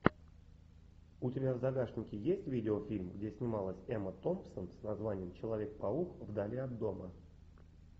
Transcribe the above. у тебя в загашнике есть видеофильм где снималась эмма томпсон с названием человек паук вдали от дома